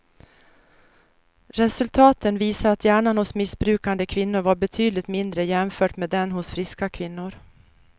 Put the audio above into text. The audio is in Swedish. Resultaten visar att hjärnan hos missbrukande kvinnor var betydligt mindre jämfört med den hos friska kvinnor.